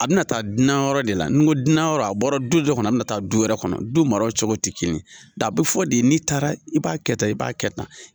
A bɛna taa duna yɔrɔ de la n ko duna yɔrɔ a bɔra du dɔ kɔnɔ a bɛ na taa du wɛrɛ kɔnɔ du maraw cogo tɛ kelen da a bɛ fɔ de n'i taara i b'a kɛ tan i b'a kɛ tan.